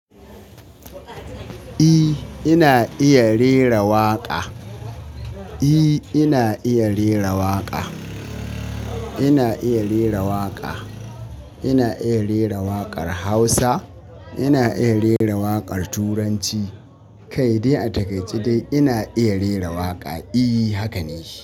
E, ina iya rera waƙa. E, ina iya rera waƙa. Ina iya rera waƙa. Ina iya rera waƙar Hausa, ina iya rera waƙar Turanci. Kawai dai a takaice dai ina iya rera waƙa. E, haka ne.